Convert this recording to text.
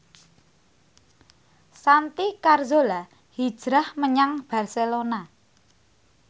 Santi Carzola hijrah menyang Barcelona